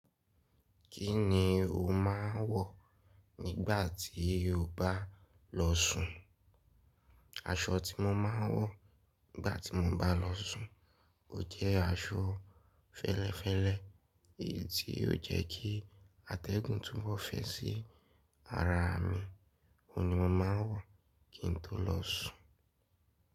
Kíni o máa ń wọ̀ nígbà tí o bá lọ sùn? Aṣọ tí mo máa ń wọ̀ nígbà tí mo bá lọ sùn, o jẹ́ aṣọ fẹ́lẹ́fẹ́lẹ́ èyí tí o jẹ́ kí atẹ́gùn tún bọ́ fẹ́ sí ara mi, òun ni mo máa ń wọ̀ kí n tó lọ sùn.